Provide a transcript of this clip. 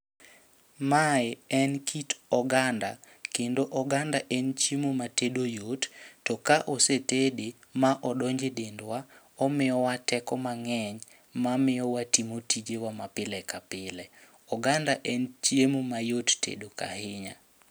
Mae en kit oganda, kendo oganda en chiemo ma tedo yot. To ka ose tede ma odonje dendwa, omiyowa teko mang'eny ma miyo watimo tijewa ma pile ka pile. Oganda en chiemo ma yot tedo ahinya.